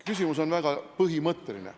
Küsimus on väga põhimõtteline.